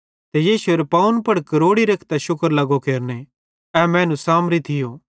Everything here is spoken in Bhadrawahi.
ते यीशुएरे पावन पुड़ दोग्ग रेखतां शुक्र लगो केरने ए मैनू सामरी थियो